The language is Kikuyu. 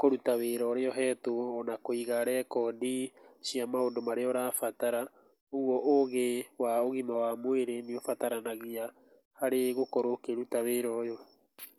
kũruta wĩra ũrĩa ũhetwo ona kũiga rekondi cia maũndũ marĩa ũrabatara. Ũguo ũgĩ wa ũgima wa mwĩrĩ nĩ ũbataranagia harĩ gũkorwo ũkĩruta wĩra ũyũ.